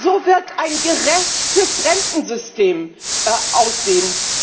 So wird ein gerechtes Rentensystem aussehen.